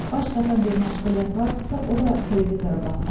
Baş qatan bir məşğuliyyət vardısa, o da televizora baxmaqdır.